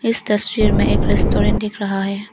इस तस्वीर में एक रेस्टोरेंट दिख रहा है।